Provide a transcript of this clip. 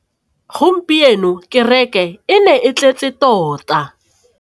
Gompieno kêrêkê e ne e tletse tota.